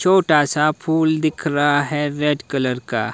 छोटा सा फूल दिख रहा है रेड कलर का।